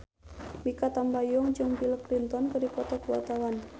Mikha Tambayong jeung Bill Clinton keur dipoto ku wartawan